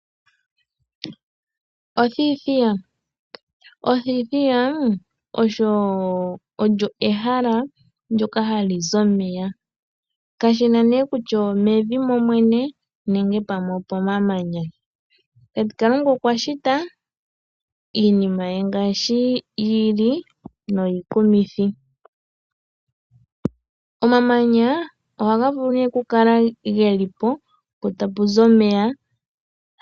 Othithiya, othithiya Olyo ehala ndoka halizi omeya, kashina ne kutya omevi momwene nenge pamwe opo mamanya, tate kalunga okwashita Iinima ye ngashi yili noyikumithi, Omamanya ohangavulu ne okukala ngelipo po tapuzi omeya.